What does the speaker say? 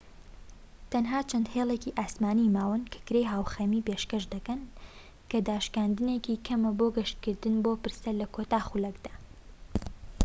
تەنها چەند هێڵێکی ئاسمانی ماون کە کرێی هاوخەمی پێشکەش دەکەن کە داشکاندنێکی کەمە بۆ گەشتکردن بۆ پرسە لە کۆتا خولەکدا